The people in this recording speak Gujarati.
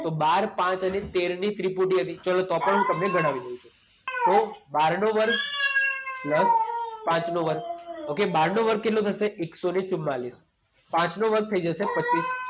તો બાર, પાંચ અને તેરની ત્રિપુટી હતી. ચાલો તો પણ હું તમને ગણાવી દઉં છું. તો બારનો વર્ગ પ્લસ પાંચનો વર્ગ. ઓકે? બારનો વર્ગ કેટલો થશે? એકસો ને ચુંમાળીસ. પાંચ વર્ગ થઈ જશે પચીસ.